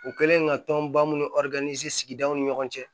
U kɛlen ka tɔnba minnu sigidaw ni ɲɔgɔn cɛ